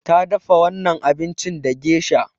Ta dafa wannan abincin da gesha.